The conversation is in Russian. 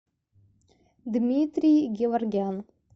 дмитрий геворгян